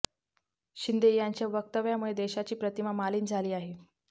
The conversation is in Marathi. शिंदे यांच्या वक्तव्यामुळे देशाची प्रतिमा मालिन झाली आहे